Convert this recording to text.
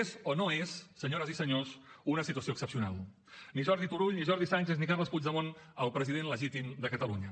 és o no és senyores i senyors una situació excepcional ni jordi turull ni jordi sànchez ni carles puigdemont el president legítim de catalunya